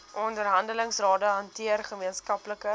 onderhandelingsrade hanteer gemeenskaplike